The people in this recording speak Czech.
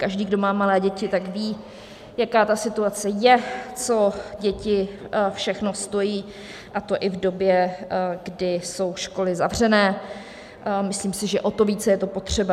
Každý, kdo má malé děti, tak ví, jaká ta situace je, co děti všechno stojí, a to i v době, kdy jsou školy zavřené, myslím si, že o to více je to potřeba.